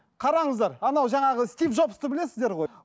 қараңыздар анау жаңағы стив джобсты білесіздер ғой